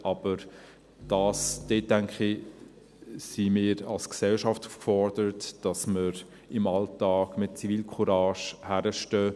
Aber dort denke ich, sind wir als Gesellschaft gefordert, dass wir im Alltag mit Zivilcourage hinstehen.